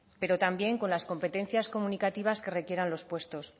pero también con las competencias comunicativas que requieran los puestos